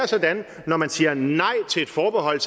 sådan at når man siger nej til et forbehold